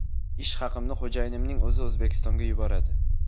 Ish haqimni xo‘jayinimning o‘zi O‘zbekistonga yuboradi.